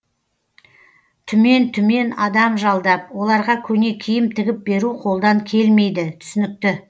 түмен түмен адам жалдап оларға көне киім тігіп беру қолдан келмейді түсінікті